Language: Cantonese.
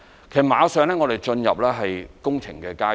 其實，我們馬上會進入工程階段。